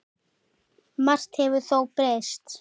Margt hefur þó breyst.